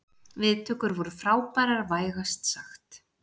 Viðtökur voru frábærar vægast sagt